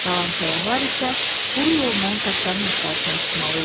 Qalan səyyahlar isə quru yolla kapitanın axtarışına çıxmalı idilər.